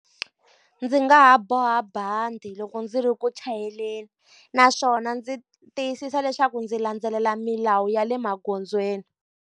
Ndzi nga ha boha bandi loko ndzi ri ku chayeleni, naswona ndzi tiyisisa leswaku ndzi landzelela milawu ya le magondzweni.